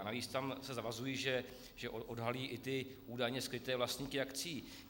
A navíc se tam zavazují, že odhalí i ty údajně skryté vlastníky akcií.